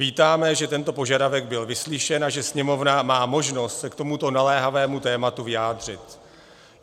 Vítáme, že tento požadavek byl vyslyšen a že Sněmovna má možnost se k tomuto naléhavému tématu vyjádřit.